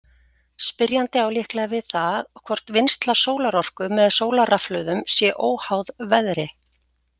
Spyrjandi á líklega við það hvort vinnsla sólarorku með sólarrafhlöðum sé óháð veðri.